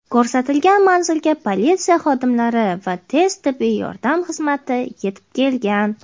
Ko‘rsatilgan manzilga politsiya xodimlari va tez tibbiy yordam xizmati yetib kelgan.